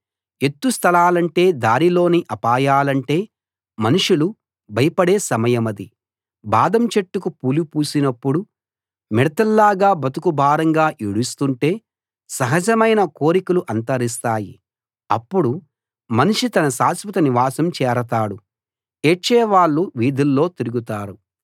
ఎత్తు స్థలాలంటే దారిలోని అపాయాలంటే మనుషులు భయపడే సమయమది బాదం చెట్టుకు పూలు పూసినప్పుడు మిడతల్లాగా బతుకు భారంగా ఈడుస్తుంటే సహజమైన కోరికలు అంతరిస్తాయి అప్పుడు మనిషి తన శాశ్వత నివాసం చేరతాడు ఏడ్చేవాళ్ళు వీధుల్లో తిరుగుతారు